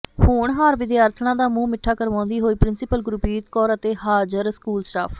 ਹੋਣਹਾਰ ਵਿਦਿਆਰਥਣਾਂ ਦਾ ਮੂੰਹ ਮਿੱਠਾ ਕਰਵਾਉਂਦੀ ਹੋਈ ਪ੍ਰਿੰਸੀਪਲ ਗੁਰਪ੍ਰੀਤ ਕੌਰ ਅਤੇ ਹਾਜ਼ਰ ਸਕੂਲ ਸਟਾਫ